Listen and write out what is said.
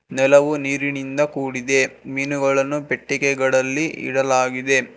ನೆಲವು ನೀರಿನಿಂದ ಕೂಡಿದೆ ಮೀನುಗಳನ್ನು ಪೆಟ್ಟಿಗೆಗಳಲ್ಲಿ ಇಡಲಾಗಿದೆ.